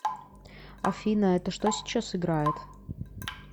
афина это что сейчас играет